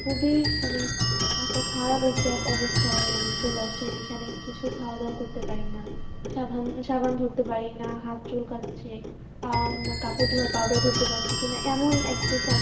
খুবই মানে একটা খারাপ একটা অবস্থায় আমি চলে আসছি যেখানে কিছু খাওয়া দাওয়া করতে পারিনা সবা~ সাবান ধরতে পারিনা হাত চুলকাচ্ছে আহ উম কাপড় ধোয়ার powder ধরতে পারতেছিনা এমন একটু সম~